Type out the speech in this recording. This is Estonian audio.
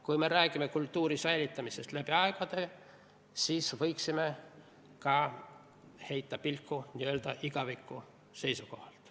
Kui me räägime kultuuri säilitamisest läbi aegade, siis võiksime sellele heita pilku ka n-ö igaviku seisukohalt.